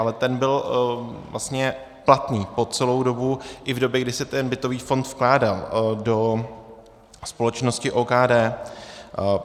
Ale ten byl vlastně platný po celou dobu i v době, kdy se ten bytový fond vkládal do společnosti OKD.